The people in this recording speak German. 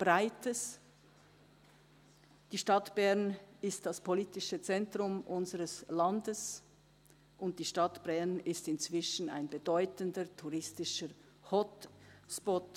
Die Stadt Bern ist das politische Zentrum unseres Landes, und die Stadt Bern ist inzwischen ein bedeutender touristischer Hotspot.